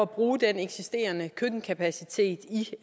bruge den eksisterende køkkenkapacitet i